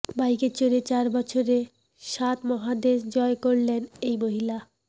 বাইকে চড়ে চার বছরে সাত মহাদেশ জয় করলেন এই মহিলা